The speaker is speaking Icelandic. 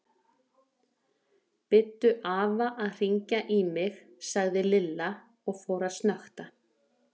Biddu afa að hringja í mig sagði Lilla og fór að snökta.